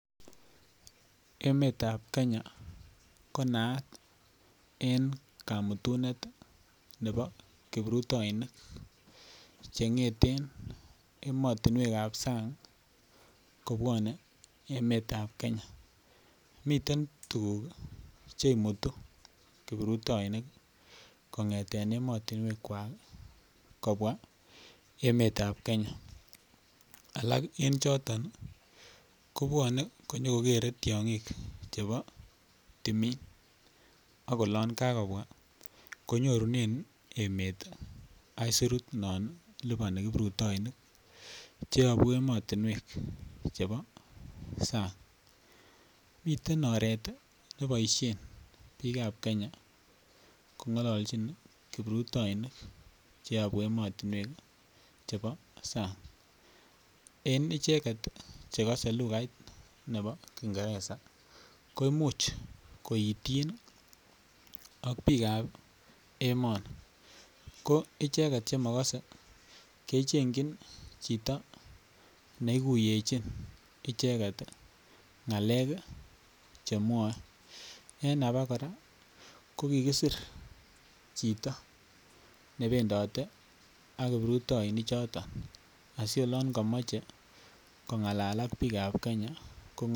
Emetab Kenya ko naat en kamutunet nebo kiprutoinik cheng'eten emotinwek ab sang kobwone emetab Kenya miten tuguk che imutu kiprutoinik kongeten emotinwek kwak kobwa emet ab Kenya alak en choton kobwone konyoko kere tiong'ik chebo timin, ak olon kogobwa konyorunen emet aisurut non liponi kiprutoinik cheyobu emotinwek cheyobu sang. Miten oret neboishen biikab Kenya kong'ololchin kiprutoinik cheyobu emotinwek chebo sang. En icheget che kose lukait nebo kiingereza koimuch koityin ak biikab emoni. Ko icheget che mokose kechengin chito neiguyechin icheget ng'alek che mwoe en abakora ko kigisir chito nebendote ak kiprutoinik choto asiolon komoche kong'alal ak biikab Kenya ko ng'ololchin.